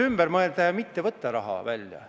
... ümber mõelda ja mitte võtta raha välja.